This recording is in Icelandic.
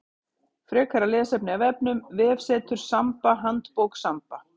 Frekara lesefni af vefnum: Vefsetur Samba Handbók Samba.